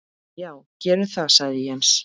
Já gerum það sagði Jens.